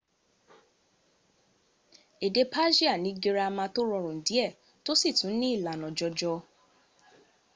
èdè persia ni gírámà tó rọrùn díẹ̀ tó sì tún ní ìlànà jọjọ